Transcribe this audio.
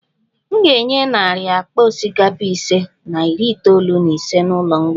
M ga-enye narị akpa osikapa ise na iri itoolu na ise n'ụlọ mgbei